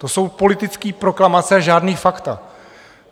To jsou politické proklamace a žádná fakta.